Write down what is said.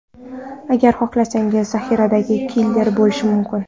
Agar xohlasangiz, zaxiradagi killer bo‘lishim mumkin.